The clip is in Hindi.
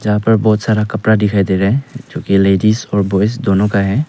यहाँ पर बहोत सारा कपड़ा दिखाई दे रहे हैं जो की लेडिस और बॉयज दोनों का है।